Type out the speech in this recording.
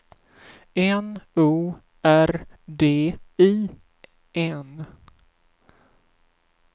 N O R D I N